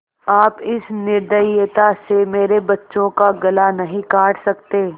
आप इस निर्दयता से मेरे बच्चों का गला नहीं काट सकते